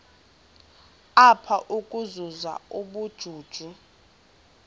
apha ukuzuza ubujuju